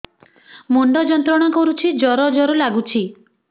ମୁଣ୍ଡ ଯନ୍ତ୍ରଣା କରୁଛି ଜର ଜର ଲାଗୁଛି